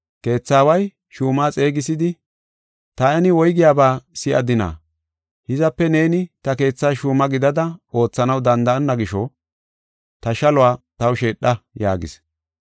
Keetha aaway shuuma xeegisidi, ‘Taani woygiyaba si7adina? Hizape neeni ta keethas shuuma gidada oothanaw danda7onna gisho, ta shaluwa taw sheedha’ yaagis.